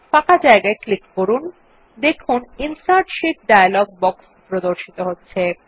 ফাঁকা জায়গায় ক্লিক করলে দেখুন ইনসার্ট শীট ডায়লগ বক্স প্রদর্শিত হচ্ছে